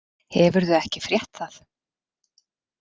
Hefurðu ekki frétt það?